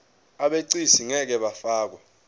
abegcis ngeke bafakwa